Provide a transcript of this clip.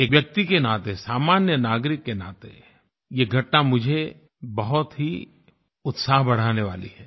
एक व्यक्ति के नाते सामान्य नागरिक के नाते ये घटना मुझे बहुत ही उत्साह बढ़ाने वाली है